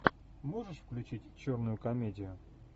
можешь включить черную комедию